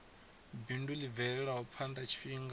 bindu ḽi bvele phanḓa tshifhinga